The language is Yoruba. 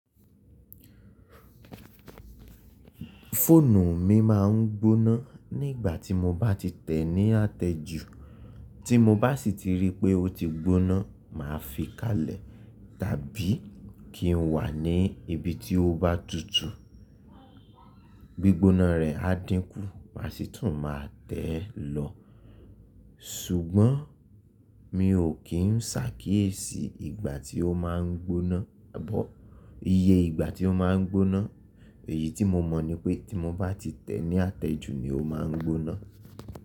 Fóònù mi máa ń gbóná nígbà tí mo bá ti tẹ̀ ní àtẹ́jù. Tí mo bá sì ti rí pé ó ti gbóná, màá fi káalẹ̀ tàbí kí n wà ní ibi tí ó bá tutù. Gbigbona rẹ̀ á dínkù, màá sì tún máa tẹ̀ ẹ́ lọ. Ṣùgbọ́n mi ò kí ń sákiyèsí ìgbà tí ó máa ń gbóná, àbọ̀ iye ìgbà tí ó máa ń gbóná. Èyí tí mo mọ̀ ni pé tí mo bá ti tẹ̀ ní àtẹ́jù ni ó máa ń gbóná.